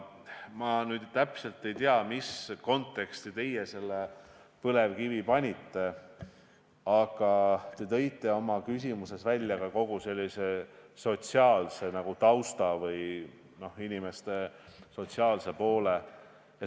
Ma nüüd täpselt ei tea, mis konteksti teie põlevkivi panite, aga te tõite oma küsimuses välja sellise sotsiaalse tausta või inimeste sotsiaalse poole.